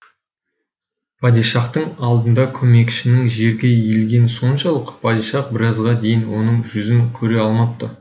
падишахтың алдында көмекшінің жерге иілгені соншалық падишах біразға дейін оның жүзін көре алмапты